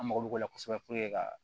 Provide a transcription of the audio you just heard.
An mako b'o la kosɛbɛ puruke ka